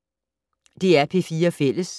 DR P4 Fælles